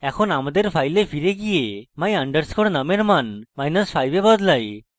এখন আমাদের file file যাই এবং my _ num এর মান5 এ বদলাই